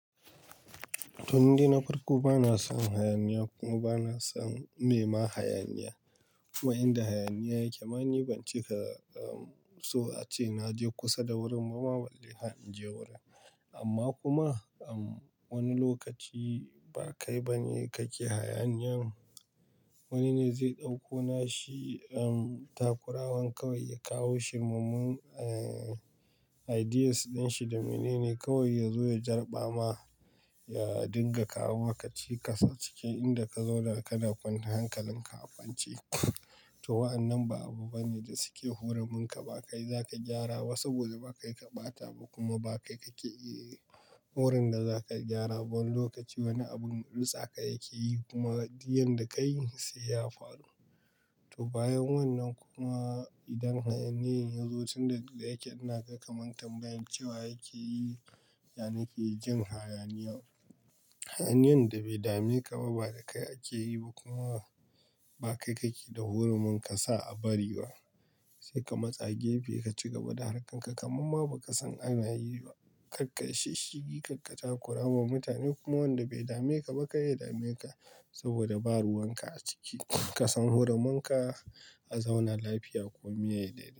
To ni dai na farko bana son hayaniya kuma bana son mema hayaniya. Kuma inda hayaniya yake ma ni ban cika, so ace naje kusa da wurin bama balle, har inje wurin. Amma kuma, um, wani lokaci ba kai ba ne kake hayaniyan. Wani ne zai ɗauko nashi, takurawan kawai ya kawo shi. Mumu ideas dinshi da mene ne kawai ya zo ya jarɓa ma, ya dinga kawo maka cikas a cikin inda ka zauna kana kwanta hankalin ka akwance. To wa'annan ba abu bane da suke hurumin ka, ba kai za ka gyarawa saboda ba kai ka ɓata ba kuma ba kai kake iya wurin da za ka gyara. Wani lokaci wani abun ritsaka yake yi kuma diyyan da ka yi sai ya faru. To bayan wannan kuma idan hayaniyen yazo tun da yake ina kakan tambayi cewa yake yi, yana yake jin hayaniya. Hayaniyan da bai dame ka ba, ba da kai ake yi ba kuma ba kai kake da horomin ka sa a bari wa. Sai ka matsa gefe ka cigaba da harkarka. Kakamamma ba ka san ana yi ba. Karka yi shishshigi, karka takura ma mutane kuma wanda bai dame ka ba ka ya dame ka saboda ba ruwan ka a ciki. Kasan hurumin ka a zauna lafiya komi ya yi daidai.